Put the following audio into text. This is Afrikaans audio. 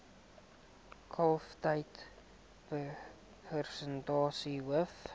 kalftyd persentasie hoof